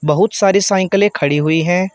बहोत सारी साइकिले खड़ी हुई है।